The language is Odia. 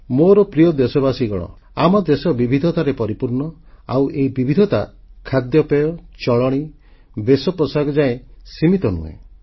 ମୋର ପ୍ରିୟ ଦେଶବାସୀଗଣ ଆମ ଦେଶ ବିବିଧତାରେ ପରିପୂର୍ଣ୍ଣ ଆଉ ଏହି ବିବିଧତା ଖାଦ୍ୟପେୟ ଚଳଣୀ ବେଶପୋଷାକ ଯାଏ ସୀମିତ ନୁହେଁ